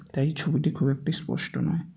তাই ছবিটি খুব একটি স্পষ্ট নয়।